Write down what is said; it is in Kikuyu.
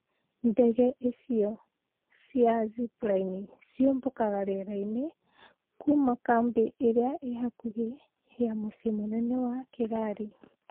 Ndege icio cia Zipline cikiumbukio riera-ini kuma kambi iria i hakuhi na mucii munen wa Kigali .